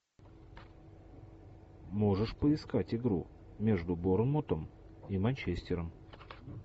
можешь поискать игру между борнмутом и манчестером